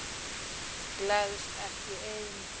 Gleðst ekki ein.